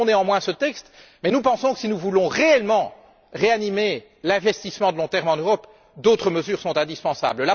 Nous voterons néanmoins ce texte, mais nous pensons que si nous voulons réellement ranimer l'investissement à long terme en Europe, d'autres mesures sont indispensables.